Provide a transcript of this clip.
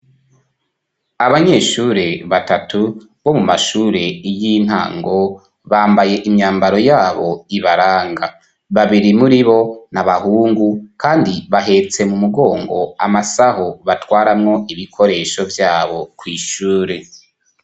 Abanyeshure batatu bo mu mashure y'intango bambaye imyambaro yabo ibaranga. Babiri muri ni abahungu kandi bahetse mu mugongo amasaho batwaramwo ibikoresho vyabo kw' ishure.